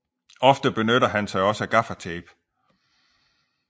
Ofte benytter han sig også af gaffatape